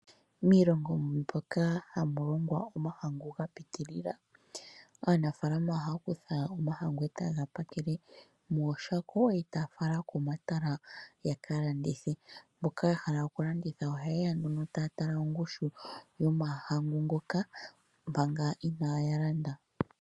Miilongo mbyoka hamu longwa omahangu ga pitilila, aanafalama ohaya kutha omahangu e taye ga pakele mooshako, e taya fala komatala yaka landithe. Mboka ya hala okulanda ohaye ya nduno taya tala ongushu yomahangu ngoka, manga inaya landa.